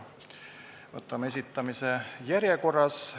Võtame esitamise järjekorras.